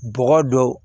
Bɔgɔ don